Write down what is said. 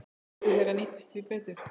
Kvóti þeirra nýtist því betur.